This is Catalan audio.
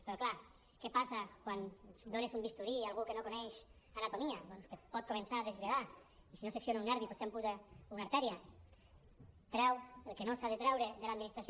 però clar què passa quan dones un bisturí a algú que no coneix anatomia doncs que pot començar a desbridar i si no secciona un nervi potser amputa una artèria treu el que no s’ha de treure de l’administració